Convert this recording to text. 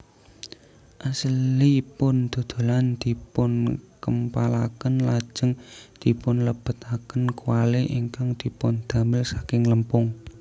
Asilipun dodolan dipunkempalaken lajeng dipunlebetaken kwali ingkang dipundamel saking lempung